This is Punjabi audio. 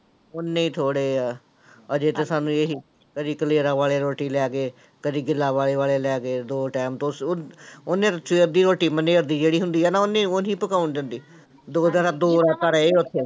ਓਨੇ ਹੀ ਥੋੜ੍ਹੇ ਆ, ਹਜੇ ਤੇ ਸਾਨੂੰ ਇਹੀ ਕਦੇ ਕਲੇਰਾਂ ਵਾਲੇ ਰੋਟੀ ਲੈ ਗਏ, ਕਦੇ ਗਿੱਲਾਂਵਾਲੇ ਵਾਲੇ ਲੈ ਗਏ, ਦੋ time ਤੁਸ ਉਹ ਉਹਨੇ ਸਵੇਰ ਦੀ ਰੋਟੀ ਬੰਨੀ ਜਿਹੜੀ ਹੁੰਦੀ ਆ ਨਾ ਉਹਨੇ ਉਹ ਨੀ ਪਕਾਉਣ ਦਿੰਦੇ ਦੋ ਦਿਨ ਦੋ ਰਾਤਾਂ ਰਹੇ ਉੱਥੇ